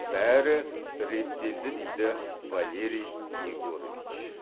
бәрі реттелді дейді валерий егорович